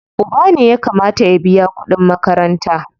Uba ne ya kamata ya biya kuɗin makaranta.